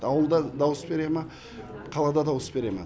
ауылда дауыс бере ма қалада дауыс бере ма